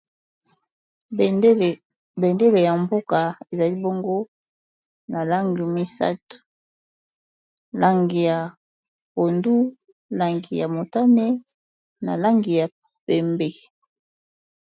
Bendele ya mboka ezali bongo na langi misato langi ya pondu, langi ya motane, na langi ya pembe.